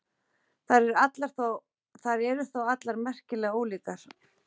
Þær eru þó allar merkilega ólíkar.